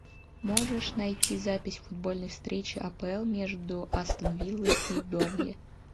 можешь найти запись футбольной встречи апл между астон виллой и бернли